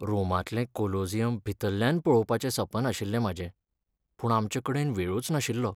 रोमांतलें Colosseum भितरल्यान पळोवपाचें सपन आशिल्लें म्हाजें, पूण आमचे कडेन वेळूच नाशिल्लो.